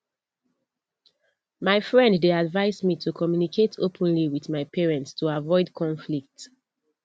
my friend dey advise me to communicate openly with my parent to avoid conflict